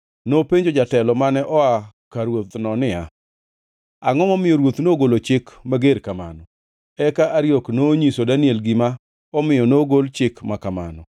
Nopenjo jatelo mane oa ka ruothno niya, “Angʼo momiyo ruoth nogolo chik mager kamano?” Eka Ariok nonyiso Daniel gima omiyo nogol chik ma kamano.